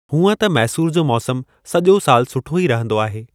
हूअं त मैसूर जो मौसम सॼो सालु सुठो ई रहंदो आहे।